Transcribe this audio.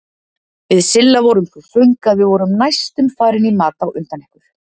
Við Silla vorum svo svöng að við vorum næstum farin í mat á undan ykkur.